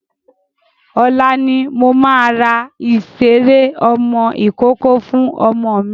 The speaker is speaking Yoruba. Ọ̀la ni mo máa ra ìṣeré ọmọ ìkókó fún ọmọ mi.